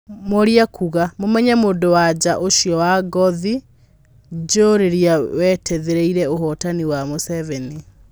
Mworia kuuga. Mũmenye mũndũwa nja ũcio wa ngothi njirũũrĩa weteithĩrĩirie ũhotaninĩ wa Mũseveni.